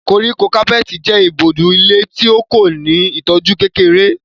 Koríko kápẹ́ẹ̀tì jẹ́ ìbòjú ilẹ̀ tí kò ní ìtọ́jú kékeré.